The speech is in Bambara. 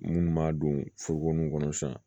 Munnu m'a don foro nunnu kɔnɔ sisan